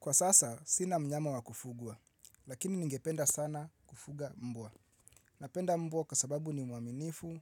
Kwa sasa, sina mnyama wakufugua, lakini ningependa sana kufuga mbwa. Napenda mbwa kwa sababu ni mwaminifu